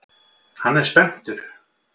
Hann er spenntur.